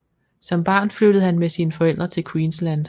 Som barn flyttede han med sine forældre til Queensland